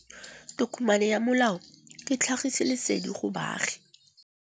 Tokomane ya molao ke tlhagisi lesedi go baagi.